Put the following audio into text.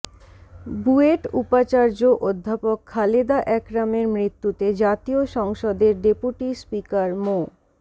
বুয়েট উপাচার্য অধ্যাপক খালেদা একরামের মৃত্যুতে জাতীয় সংসদের ডেপুটি স্পিকার মো